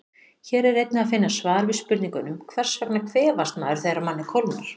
Hér er einnig að finna svar við spurningunum: Hvers vegna kvefast maður þegar manni kólnar?